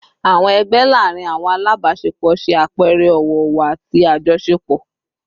Awọn ẹgbẹ laarin awọn alabaṣepọ ṣe apẹẹrẹ ọwọ-ọwọ ati ajọṣepọ